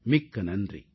மிக்க நன்றி